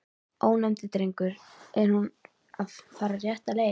Ónefndur drengur: Er hún að fara rétta leið?